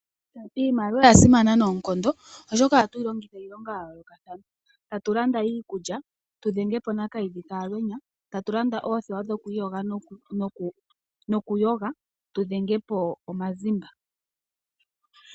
Iimaliwa oya simana noonkondo oshoka ohatuyi longitha okulanda iikulya tudhengepo nakiidhi ka alwenya ,tatulanda oothewa dhokuyoga no ku iyoga tudhengepi mazimba .